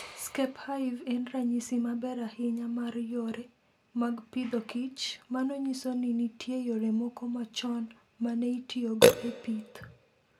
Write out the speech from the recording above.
Skep Hive en ranyisi maber ahinya mar yore mag Agriculture and Food. Mano nyiso ni nitie yore moko machon ma ne itiyogo e pith.